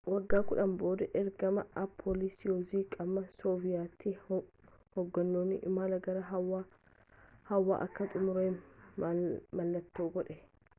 wagga kudhanii booda ergama appollo soyuzii qaama sooviyet hogganuun imallii gara hawwa akka xumurame mallattoo godhe